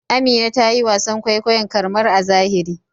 Amina ta yi wasan kwaikwayon karmar a zahiri.